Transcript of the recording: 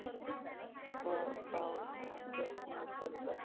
Hvað var það þá sem fékk mig til þess?